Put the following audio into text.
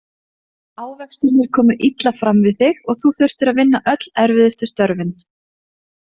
Ávextirnir komu illa fram við þig og þú þurftir að vinna öll erfiðustu störfin.